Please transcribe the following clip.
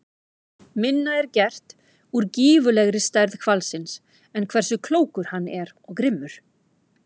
Minna er gert úr gífurlegri stærð hvalsins en hversu klókur hann er og grimmur.